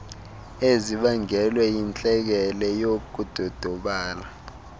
ezibangelwe yintlekele yokudodobala